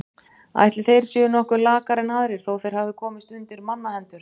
Ætli þeir séu nokkuð lakari en aðrir þó þeir hafi komist undir mannahendur.